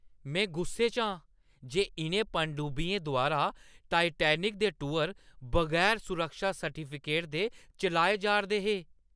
में गुस्से च आं जे इʼनें पनडुब्बियें द्वारा टाइटैनिक दे टूर बगैर सुरक्षा सर्टिफिकेट दे चलाए जा 'रदे हे।